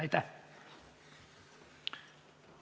Aitäh!